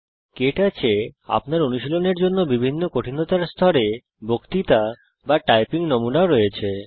কে touch এ আপনার অনুশীলনের জন্য বিভিন্ন কঠিনতার স্তরে বক্তৃতা বা টাইপিং নমুনাও আছে